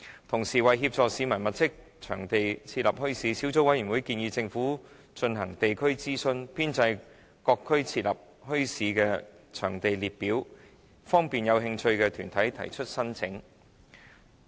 同時，為協助市民物色場地設立墟市，小組委員會建議政府進行地區諮詢，編製各區適合設立墟市的場地列表，方便有興趣的團體提出申請。